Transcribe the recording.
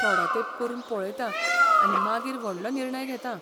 थोडो तेंप करून पळयतां आनी मागीर व्हडलो निर्णय घेतां.